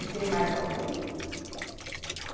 E tem mais algum?